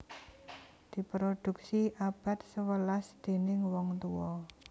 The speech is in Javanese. Diproduksi abad sewelas déning wong tuwa